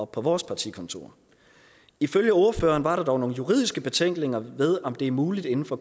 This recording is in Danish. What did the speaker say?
på vores partikontorer ifølge ordføreren var der dog nogle juridiske betænkeligheder ved om det er muligt inden for